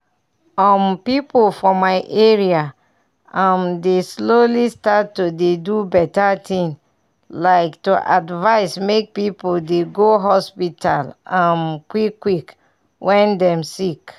um people for my area um dey slowly start to dey do better things like to advise make people dey go hospital um quick quick when dem sick.